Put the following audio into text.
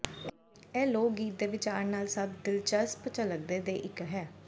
ਇਹ ਲੋਕ ਗੀਤ ਦੇ ਵਿਚਾਰ ਨਾਲ ਸਭ ਦਿਲਚਸਪ ਝਲਕਦੇ ਦੇ ਇੱਕ ਹੈ